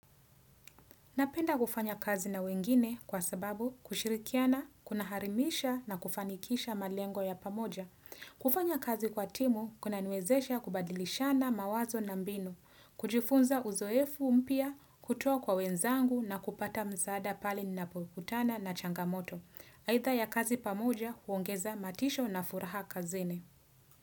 Napenda kufanya kazi na wengine kwa sababu kushirikiana, kuna harimisha na kufanikisha malengo ya pamoja. Kufanya kazi kwa timu kuna niwezesha kubadilishana mawazo na mbinu, kujifunza uzoefu mpya, kutoa kwa wenzangu na kupata mzaada pale na polikutana na changamoto. Aidha ya kazi pamoja huongeza matisho na furaha kazini.